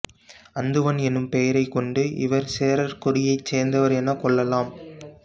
அந்துவன் என்னும் பெயரைக்கொண்டு இவர் சேரர் குடியைச் சேர்ந்தவர் எனக் கொள்ளலாம்